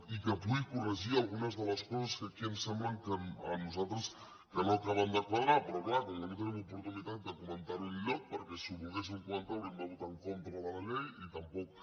i que pugui corregir alguna de les coses que aquí ens sembla a nosaltres que no acaben de quadrar però és clar com que no tenim oportunitat de comen·tar·ho enlloc perquè si ho volguéssim comentar hau·ríem de votar en contra de la llei i tampoc